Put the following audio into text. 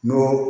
N'o